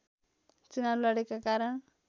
चुनाव लडेका कारण